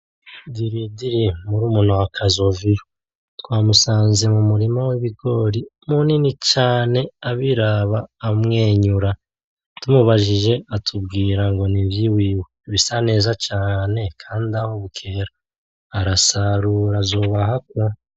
Diridiri murumuna wa kazoviyo twamusanze mumurima wibigori munini cane abiraba amwenyura tumubajije atubwira ngo nivyiwiwe, bisa neza cane kandi ahobukera arasarura azoba ahabwa.